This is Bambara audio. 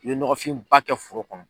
I bɛ nɔgɔfinba kɛ foro kɔnɔ.